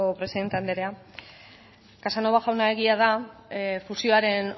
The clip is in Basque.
presidente andrea casanova jauna egia da fusioaren